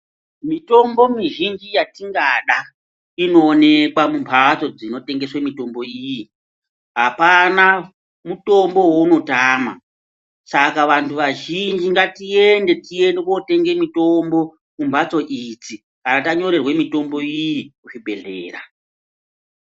Mitombo mizhinji yatingada, inowonekwa mumbatso dzinotengese mitombo iyi. Hapana mutombo wawunotama. Saka, vantu vazhinji ngatiyende, tiyende kotenge mitombo mumbatso idzi. Kana tanyorerwe mitombo iyi kuzvibhedhlera.